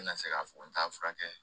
N bɛna se k'a fɔ n t'a furakɛ